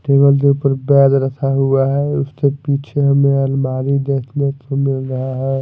Table के ऊपर प्याज रखा हुआ है उसके पीछे हमें अलमारी देखने को मिल रहा है।